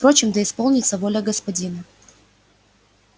впрочем да исполнится воля господина